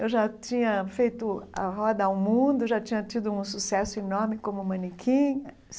Eu já tinha feito a roda ao mundo, já tinha tido um sucesso enorme como manequim.